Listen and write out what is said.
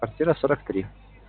квартира сорок три